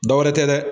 Dɔ wɛrɛ tɛ dɛ